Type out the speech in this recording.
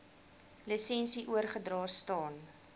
lisensie oorgedra staan